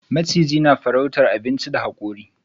Maciji na farrauta abinchinta da hakuri.